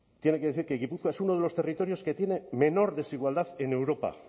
tiene que decir que gipuzkoa es uno de los territorios que tiene menor desigualdad en europa